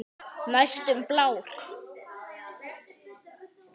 Næstum blár.